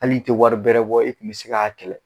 Hali tɛ wari bɛrɛ bɔ, e kun bɛ se k'a kɛlɛ,